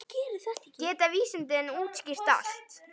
Geta vísindin útskýrt allt?